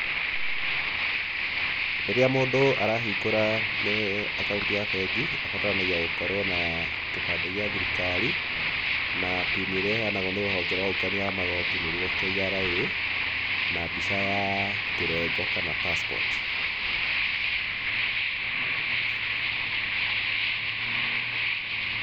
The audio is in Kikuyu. Rĩrĩa mũndũ arahingũra eh akaũnti ya bengi abataranagia gũkorwo na kĩbandĩ gĩa thirikari, na PIN ĩrĩa ĩheanagwo nĩ rũhonge rwa magooti nĩruo KRA, na mbica ya kĩrengo kana Passport.